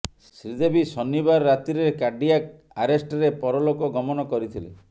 ଶ୍ରୀଦେବୀ ଶନିବାର ରାତ୍ରୀରେ କାର୍ଡ଼ିଆକ୍ ଆରେଷ୍ଟରେ ପରଲୋକ ଗମନ କରିଥିଲେ